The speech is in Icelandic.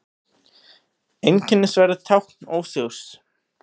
Einskisverð tákn ósigurs.